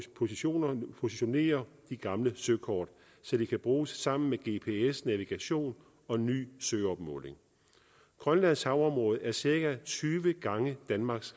positionerer positionerer de gamle søkort så de kan bruges sammen med gps navigation og ny søopmåling grønlands havområde er cirka tyve gange danmarks